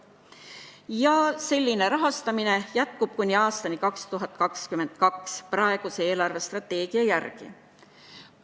Ja selline rahastamine jätkub kuni aastani 2022 praeguse eelarvestrateegia järgi.